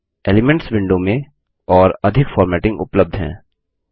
elements window में और अधिक फॉर्मेटिंग उपलब्ध है